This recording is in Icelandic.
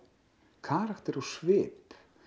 karakter og svip